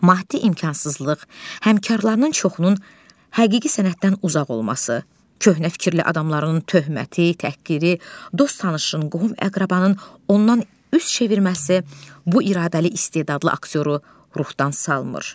Maddi imkansızlıq, həmkarlarının çoxunun həqiqi sənətdən uzaq olması, köhnə fikirli adamların töhməti, təhqiri, dost tanışın, qohum əqrabanın ondan üz çevirməsi bu iradəli istedadlı aktyoru ruhdan salmır.